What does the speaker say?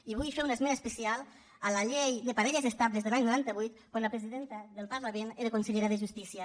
i vull fer un esment especial a la llei de parelles estables de l’any noranta vuit quan la presidenta del parlament era consellera de justícia